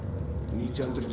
nítján hundruð